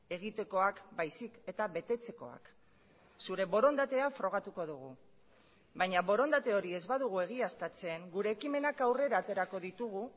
egitekoak baizik eta betetzekoak zure borondatea frogatuko dugu baina borondate hori ez badugu egiaztatzen gure ekimenak aurrera aterako ditugu